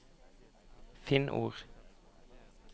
Finn ord